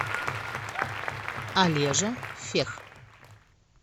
олежа фех